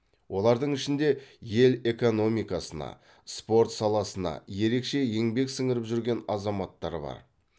олардың ішінде ел экономикасына спорт саласына ерекше еңбек сіңіріп жүрген азаматтар бар